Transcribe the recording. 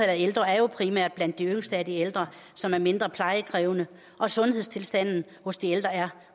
af ældre er jo primært blandt de yngste af de ældre som er mindre plejekrævende og sundhedstilstanden hos de ældre er